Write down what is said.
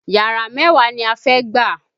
Yàrá mẹ́wàá ni a fẹ́ gbà